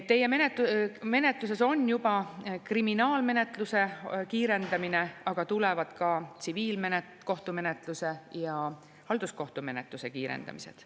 Teie menetluses on juba kriminaalmenetluse kiirendamine, aga tulevad ka tsiviilkohtumenetluse ja halduskohtumenetluse kiirendamised.